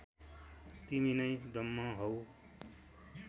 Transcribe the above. तिमी नै ब्रह्म हौ